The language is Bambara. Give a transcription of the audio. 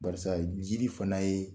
Barisa jiri fana ye